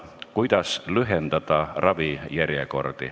Austatud Riigikogu esimees!